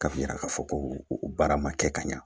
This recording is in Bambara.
Ka yira k'a fɔ ko o baara ma kɛ ka ɲa